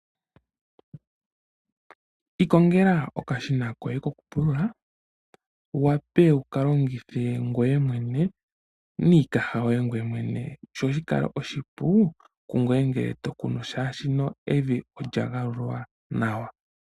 Ikongela oka shina koye koku pulula wu wape wuka longithe ngweye mwene miikaha yoye ngweye mwene opo shikale oshipu kungweye ngele tokunu shashino evi olya gawululwa nawa.